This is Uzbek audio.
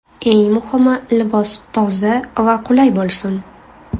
Eng muhimi, libos toza va qulay bo‘lsin.